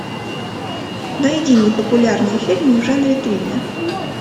найди мне популярные фильмы в жанре триллер